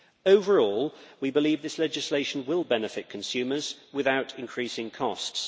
Overall, we believe this legislation will benefit consumers without increasing costs.